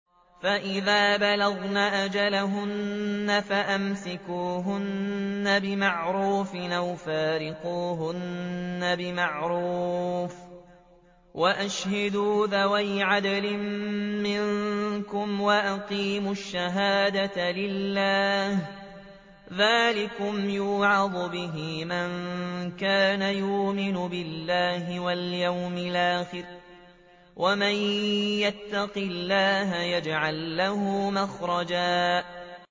فَإِذَا بَلَغْنَ أَجَلَهُنَّ فَأَمْسِكُوهُنَّ بِمَعْرُوفٍ أَوْ فَارِقُوهُنَّ بِمَعْرُوفٍ وَأَشْهِدُوا ذَوَيْ عَدْلٍ مِّنكُمْ وَأَقِيمُوا الشَّهَادَةَ لِلَّهِ ۚ ذَٰلِكُمْ يُوعَظُ بِهِ مَن كَانَ يُؤْمِنُ بِاللَّهِ وَالْيَوْمِ الْآخِرِ ۚ وَمَن يَتَّقِ اللَّهَ يَجْعَل لَّهُ مَخْرَجًا